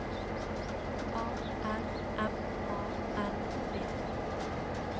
A R M A N D